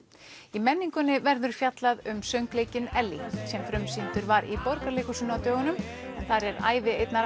í menningunni verður fjallað um söngleikinn Ellý sem frumsýndur var í Borgarleikhúsinu á dögunum en þar er ævi einnar